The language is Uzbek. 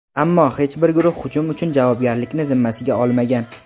Ammo hech bir guruh hujum uchun javobgarlikni zimmasiga olmagan.